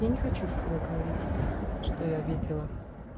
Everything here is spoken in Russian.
я не хочу всего говорить что я видела